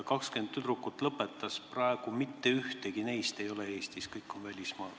20 tüdrukut lõpetas, praegu mitte ükski neist ei ole Eestis, kõik on välismaal.